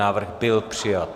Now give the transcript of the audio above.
Návrh byl přijat.